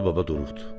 Alı Baba duruxdu.